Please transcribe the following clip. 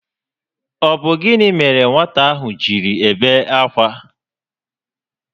Ọ bụ gịnị mere nwata ahụ jiri ebe akwa?